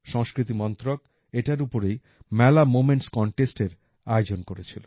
সংস্কৃতি মন্ত্রক এটার উপরেই মেলা মোমেন্টস Contestএর আয়োজন করেছিল